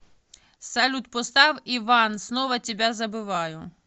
салют поставь иван снова тебя забываю